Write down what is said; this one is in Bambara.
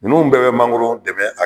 Nunnu bɛɛ be mangoro dɛmɛ a